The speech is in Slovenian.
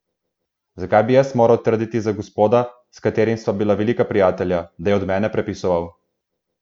Zakaj bi moral jaz trditi za gospoda, s katerim sva bila velika prijatelja, da je od mene prepisoval?